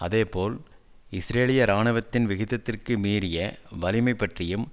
அதே போல் இஸ்ரேலிய இராணுவத்தின் விகிதத்திற்கு மீறிய வலிமை பற்றியும்